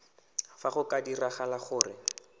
fa go ka diragala gore